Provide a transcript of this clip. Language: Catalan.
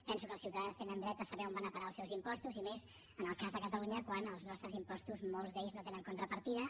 penso que els ciutadans tenen dret a saber on van a parar els seus impostos i més en el cas de catalunya quan els nostres impostos molts d’ells no tenen contrapartida